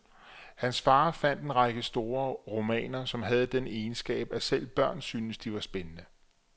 Hans far fandt en række store romaner, som havde den egenskab, at selv børn syntes at de var spændende.